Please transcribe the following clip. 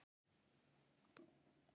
Syn gætir dyra í höllum